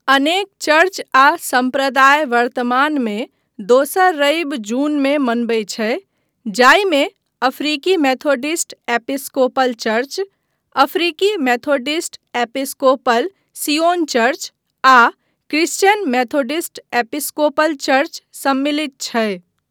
अनेक चर्च आ सम्प्रदाय वर्तमानमे दोसर रवि जूनमे मनबैत छै जाहिमे अफ्रीकी मेथोडिस्ट एपिस्कोपल चर्च, अफ्रीकी मेथोडिस्ट एपिस्कोपल सियोन चर्च, आ क्रिश्चियन मेथोडिस्ट एपिस्कोपल चर्च सम्मिलित छै।